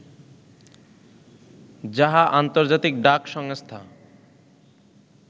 যাহা ‘আন্তর্জাতিক ডাক সংস্থা’